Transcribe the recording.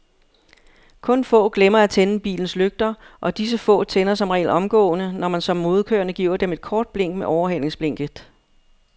Kun få glemmer at tænde bilens lygter, og disse få tænder som regel omgående, når man som modkørende giver dem et kort blink med overhalingsblinket.